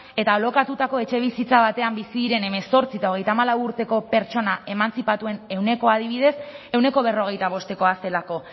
eta alokatutako etxebizitza batean bizi diren hemezortzi eta hogeita hamalau urteko pertsona emantzipatuen ehunekoa adibidez ehuneko berrogeita bostekoa zelako